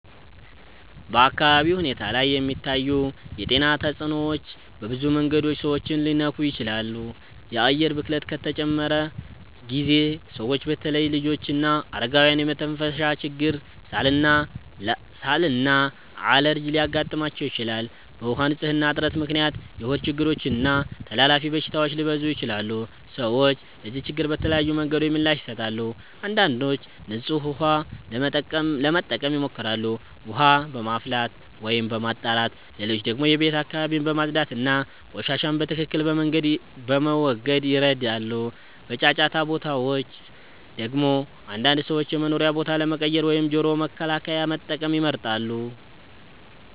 በአካባቢ ሁኔታ ላይ የሚታዩ የጤና ተጽዕኖዎች በብዙ መንገዶች ሰዎችን ሊነኩ ይችላሉ። የአየር ብክለት ከተጨመረ ጊዜ ሰዎች በተለይ ልጆችና አረጋውያን የመተንፈሻ ችግር፣ ሳል እና አለርጂ ሊያጋጥማቸው ይችላል። በውሃ ንፅህና እጥረት ምክንያት የሆድ ችግሮች እና ተላላፊ በሽታዎች ሊበዙ ይችላሉ። ሰዎች ለዚህ ችግር በተለያዩ መንገዶች ምላሽ ይሰጣሉ። አንዳንዶች ንጹህ ውሃ ለመጠቀም ይሞክራሉ፣ ውሃ በማፍላት ወይም በማጣራት። ሌሎች ደግሞ የቤት አካባቢን በማጽዳት እና ቆሻሻን በትክክል በመወገድ ይረዳሉ። በጫጫታ ቦታዎች ደግሞ አንዳንድ ሰዎች የመኖሪያ ቦታ ለመቀየር ወይም ጆሮ መከላከያ መጠቀም ይመርጣሉ።